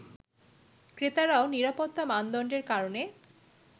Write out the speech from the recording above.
ক্রেতারাও নিরাপত্তা মানদণ্ডের কারণে